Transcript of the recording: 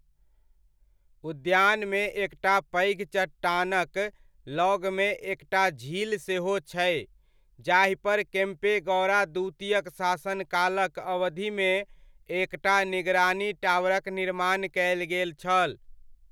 उद्यानमे एकटा पैघ चट्टानक लगमे एकटा झील सेहो छै जाहिपर केम्पेगौड़ा द्वितीयक शासनकालक अवधिमे एकटा निगरानी टावरक निर्माण कयल गेल छल।